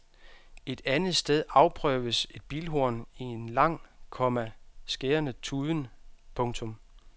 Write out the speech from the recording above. Et andet sted afprøves et bilhorn i en lang, komma skærende tuden. punktum